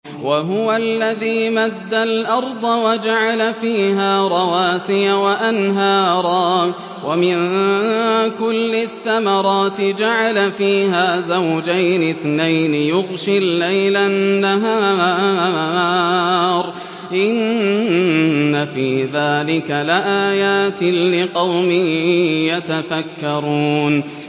وَهُوَ الَّذِي مَدَّ الْأَرْضَ وَجَعَلَ فِيهَا رَوَاسِيَ وَأَنْهَارًا ۖ وَمِن كُلِّ الثَّمَرَاتِ جَعَلَ فِيهَا زَوْجَيْنِ اثْنَيْنِ ۖ يُغْشِي اللَّيْلَ النَّهَارَ ۚ إِنَّ فِي ذَٰلِكَ لَآيَاتٍ لِّقَوْمٍ يَتَفَكَّرُونَ